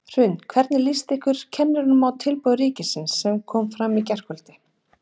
Hrund: Hvernig líst ykkur kennurum á tilboð ríkisins sem kom fram í gærkvöldi?